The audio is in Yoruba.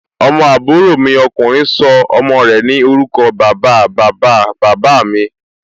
Ọmọ àbúrò mi ọkùnrin sọ ọmọ rẹ̀ ní orúkọ bàba, bàba, bàbá mí